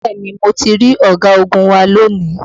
Bẹ́ẹ̀ni mo ti rí ọ̀gagun wa lónìí